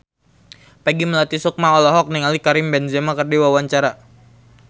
Peggy Melati Sukma olohok ningali Karim Benzema keur diwawancara